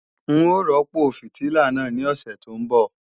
N ó rọ́pò fìtílà náà ní òsè tó ń bọ̀